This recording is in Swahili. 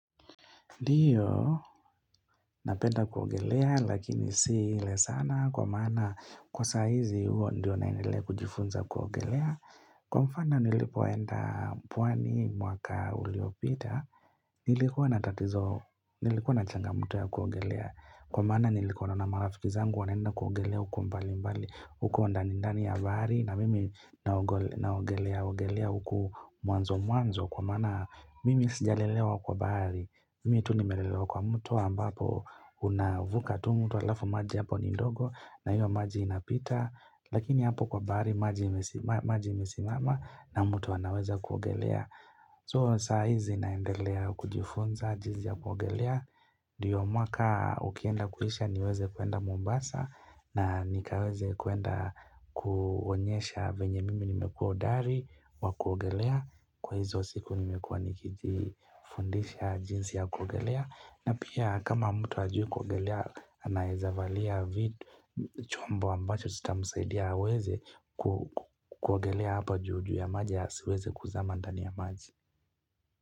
Ndiyo, napenda kuogelea, lakini si ile sana kwa maana kwa sahizi huo ndiyo naendelea kujifunza kuogelea. Kwa mfana nilipoenda pwani mwaka uliopita, nilikuwa na tatizo, nilikuwa na changamto ya kuogelea. Kwa maana nilikuwa naona marafiki zangu, wanaenda kuogelea huko mbali mbali, huko ndanindani ya bahari, na mimi naogelea ogelea huku mwanzo mwanzo. Kwa maana mimi sijalelewa kwa bahari Mimi tu nimelelewa kwa mto ambapo unavuka tu mto alafu maji hapo nindogo na hiyo maji inapita Lakini hapo kwa bahari maji imesimama na mtu anaweza kuogelea So saa hizi naendelea kujifunza jinzi ya kuogelea ndiyo mwaka ukienda kuisha niweze kwenda mombasa na nikaweze kwenda kuonyesha venye mimi nimekuwa hodari wa kuogelea kwa hizo siku nimekuwa nikiji fundisha jinsi ya kuogelea na pia kama mtu hajui kuogelea anaezavalia vitu chombo ambacho sita msaidia aweze kuogelea hapa juu juu ya maji asiweze kuzama ndani ya maji.